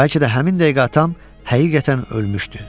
Bəlkə də həmin dəqiqə atam həqiqətən ölmüşdü.